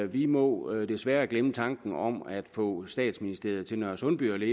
vi må desværre glemme tanken om at få statsministeriet til nørresundby det